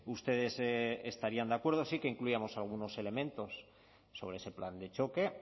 ustedes estarían de acuerdo sí que incluíamos algunos elementos sobre ese plan de choque